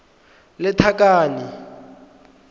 lethakane